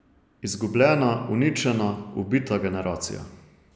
Izgubljena, uničena, ubita generacija.